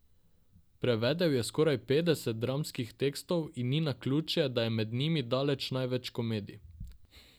Prevedel je skoraj petdeset dramskih tekstov in ni naključje, da je med njimi daleč največ komedij.